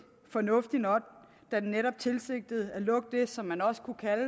fornuftig nok da den netop tilsigtede at lukke det som man også kunne kalde